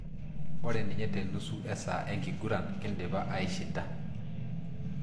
Ore ninye tenusu esaa enkiguran kindipa aishinda